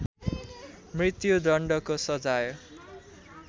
मत्यु दण्डको सजाय